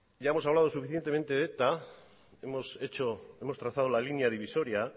ya hemos hablado suficientemente de eta hemos hecho hemos trazado la línea divisoria